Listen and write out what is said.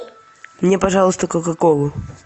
мне пожалуйста кока колу